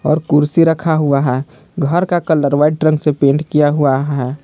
और कुर्सी रखा हुआ है घर का कलर वाइट रंग से पेंट किया हुआ है।